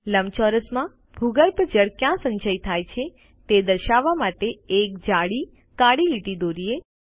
લંબચોરસ માં ભૂગર્ભ જળ ક્યાં સંચય થાય છે તે દર્શાવવા માટે એક જાડી કાળી લીટી દોરીએ